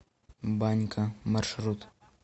банька маршрут